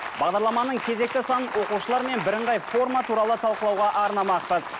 бағдарламаның кезекті санын оқушылар мен бірыңғай форма туралы талқылауға арнамақпыз